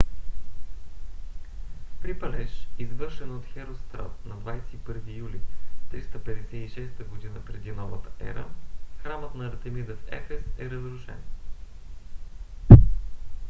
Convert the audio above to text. при палеж извършен от херострат на 21 юли 356 г.пр.н.е. храмът на артемида в ефес е разрушен